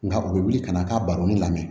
Nka u bɛ wuli ka na k'a baroni lamɛn